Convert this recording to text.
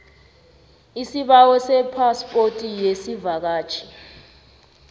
isibawo sephaspoti yesivakatjhi